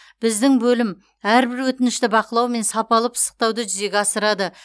біздің бөлім әрбір өтінішті бақылау мен сапалы пысықтауды жүзеге асырады